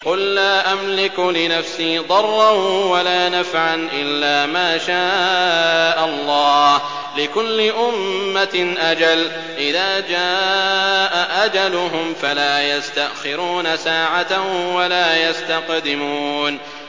قُل لَّا أَمْلِكُ لِنَفْسِي ضَرًّا وَلَا نَفْعًا إِلَّا مَا شَاءَ اللَّهُ ۗ لِكُلِّ أُمَّةٍ أَجَلٌ ۚ إِذَا جَاءَ أَجَلُهُمْ فَلَا يَسْتَأْخِرُونَ سَاعَةً ۖ وَلَا يَسْتَقْدِمُونَ